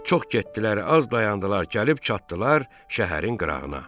Çox getdilər, az dayandılar, gəlib çatdılar şəhərin qırağına.